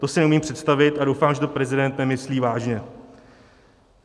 To si neumím představit a doufám, že to prezident nemyslí vážně.